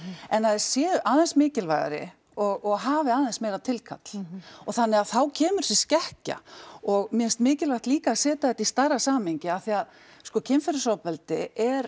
en að þeir séu aðeins mikilvægari og hafi aðeins meira tilkall og þannig að þá kemur þessi skekkja og mér finnst mikilvægt líka að setja þetta í stærra samhengi af því að sko kynferðisofbeldi er